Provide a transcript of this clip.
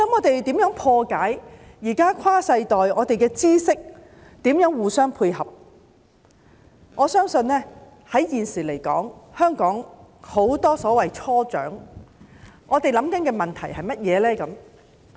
除了如何解決跨世代互相配合、分享知識的問題之外，現時香港很多所謂"初長"正面對甚麼問題呢？